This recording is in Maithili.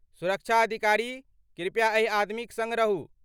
सुरक्षा अधिकारी, कृपया एहि आदमीक सङ्ग रहू।